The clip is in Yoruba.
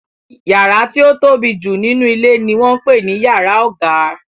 Yàrá tí ó tóbi jù nínú ilé ni wọ́n ń pè ní yàrá ọ̀gá.